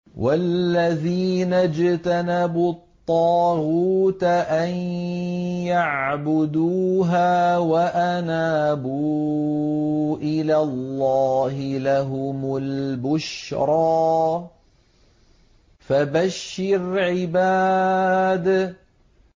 وَالَّذِينَ اجْتَنَبُوا الطَّاغُوتَ أَن يَعْبُدُوهَا وَأَنَابُوا إِلَى اللَّهِ لَهُمُ الْبُشْرَىٰ ۚ فَبَشِّرْ عِبَادِ